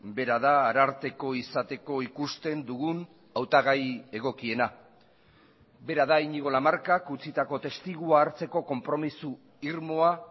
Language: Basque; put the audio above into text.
bera da ararteko izateko ikusten dugun hautagai egokiena bera da iñigo lamarcak utzitako testigua hartzeko konpromiso irmoa